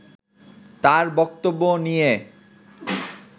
তার বক্তব্য নিয়ে